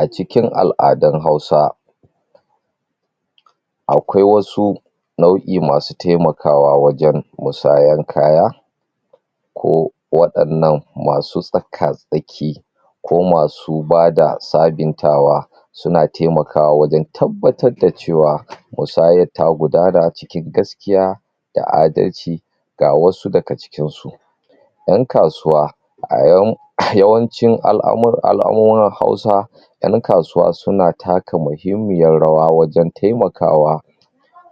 A cikin al'adan Hausa akwai wasu nau'i masu temakawa wajen musayan kaya, ko waɗannan masu tsaka tsaki, ko masu bada sabintawa suna temakawa wajen tabbatadda cewa musayat tagudana cikin gaskiya da adalci ga wasu daga cikin su: 'Yan kasuwa yawancin al'amur...al'amuran Hausa 'yan kasuwa suna taka muhimmiyar rawa wajen taimakawa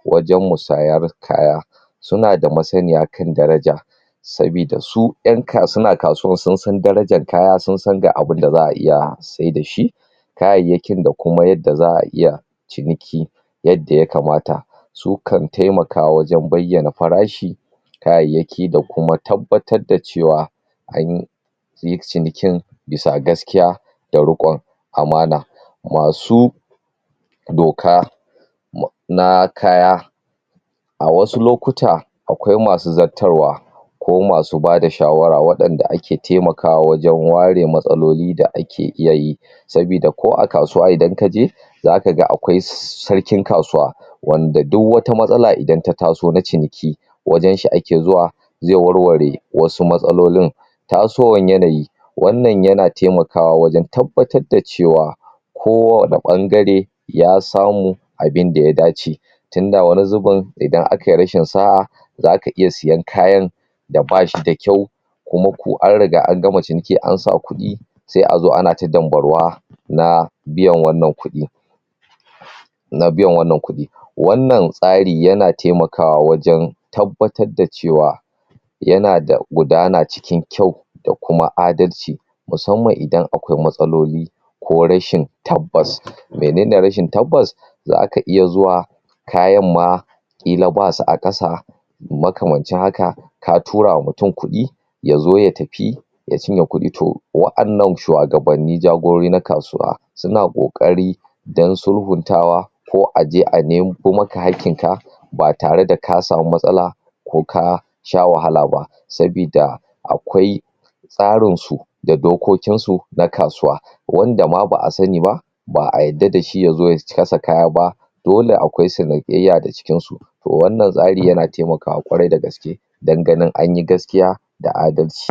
wajen musayar kaya, suna da masaniya kan daraja sabida sun 'yan kasu...suna kasuwar sun san darajar kaya sun san ga abinda za'a iya saida shi kayayyakin da kuma yadda za'a iya ciniki yadda yakamata, sukan taimaka wajen bayyana farashi kayayyaki da kuma tabbatadda cewa an yi sin yi cinikin bisa gaskiya da riƙon amana, masu doka na kaya a wasu lokuta akwai masu zattarwa ko masu bada shawara waɗan da ake temakawa wajen ware matsalolin da ake iya yi, sabida ko a kasuwa idan ka je za ka ga akwai sarkin kasuwa wanda duwwata matsala idan ta taso na ciniki wajen shi ake zuwa ze warware wasu matsalolin. Tasowan yanayi wannan yana temakawa wajen tabbatadda cewa kowane ɓangare ya samu abinda ya dace, tinda wani zibin idan akai rashin sa'a zaka iya siyan kayan da bashi da kyau kuma ko an riga an gama ciniki an sa kuɗi se azo ana ta dambaruwa na biyan wannan kuɗi na biyan wannan kuɗi, wannan tsari yana temakawa wajen tabbatadda cewa yana da gudana cikin kyau da kuma adalci, musamman idan akwai matsaloli ko rashin tabbas menene rashin tabbas zaka iya zuwa kayamma ƙila basu a ƙasa makamancin haka ka turawa mutum kuɗi ya zo ya tafi ya cinye kuɗi to wa'annan shuwagabanni jagorori na kasuwa suna ƙoƙari dan sulhuntawa ko aje a nemo maka haƙƙinka ba tare da ka samu matsala ko ka sha wahala ba, sabida akwai tsarinsu da dokokinsu na kasuwa wanda ma ba'a sani ba ba'a yadda da shi ya zo ya kasa kaya ba, dole akwai sanayya da cikin su to wannan tsari yana temakawa ƙwarai da gaske dan ganin anyi gaskiya da adalci.